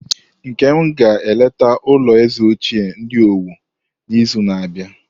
Nkem ga-eleta ulo eze ochie ndi Owo n'izu na-abịa.